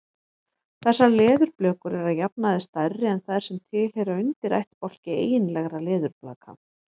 Þessar leðurblökur eru að jafnaði stærri en þær sem tilheyra undirættbálki eiginlegra leðurblaka.